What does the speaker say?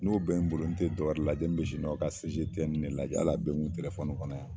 N'o bɛ n bolo n te dɔ wɛrɛ lajɛ, ne siniwaw ka CGTN de lajɛ , hali a be n kun kɔnɔ yan.